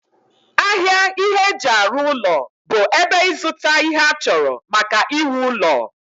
ahịa ihe eji arụ ụlọ bụ ebe ịzụta ihe achọrọ maka iwu ụlọ